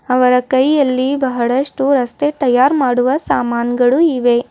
ಅವರ ಕೈಯಲ್ಲಿ ಬಹಳಷ್ಟು ರಸ್ತೆ ತಯಾರ್ ಮಾಡುವ ಸಾಮಾನುಗಳು ಇವೆ.